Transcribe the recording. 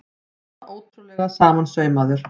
Svona ótrúlega samansaumaður!